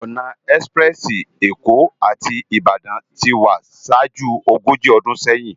Òná èspirèsi Ékó áti Ibadan ti wá ṣájú ógóji ódún séyin